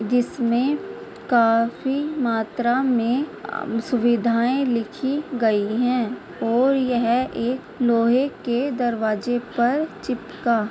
जिसमें काफी मात्रा में सुविधाएं लिखी गयी हैं और यह है एक लोहे के दरवाज़े पर चिपका--